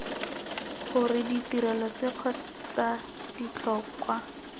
gore ditirelo tse kgotsa ditlhokwa